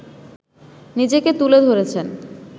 নিজেকে তুলে ধরেছেন